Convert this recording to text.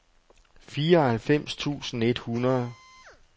fireoghalvfems tusind et hundrede